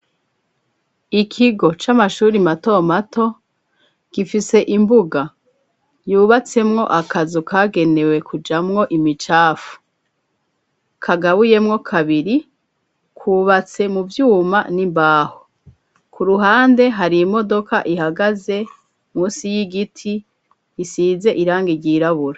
Ikigo c'amashuri matomato gifise imbuga yubatsemwo akazu kagenewe kujamwo imicafu kagabuyemwo kabiri kwubatse mu vyuma n'imbaho ku ruhande hari imodoka ihagaze musi y'igiti i isize iranga ryirabura.